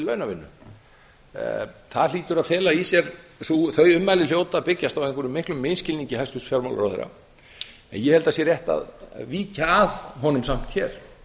launavinnu þau ummæli hljóta að byggjast á einhverjum miklum misskilningi hæstvirts fjármálaráðherra en ég held að samt sé rétt að víkja að honum hér